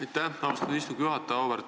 Aitäh, austatud istungi juhataja!